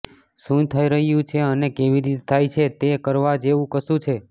શું થઈ રહ્યું છે અને કેવી રીતે થાય છે તે કરવા જેવું કશું છે